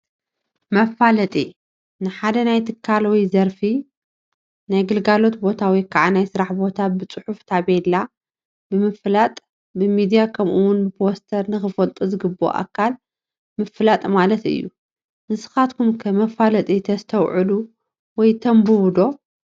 መፋለጢ፡- ንሓደ ናይ ትካል ወይ ዘርፊ ፣ ናይ ግልጋሎት ቦታ ወይ ከዓ ናይ ስራሕ ቦታ ብፅሑፍ ታፔላ ብምልጣፍ፣ ብሚድያ ከምኡ ውን ብፖስተር ንኽፈልጦ ዝግበኦ ኣካል ምፍላጥ ማለት እዩ፡፡ ንስኻትኩም ከ መፋለጢ ተስተውዕሉ ወይ ተንብቡ ዶ?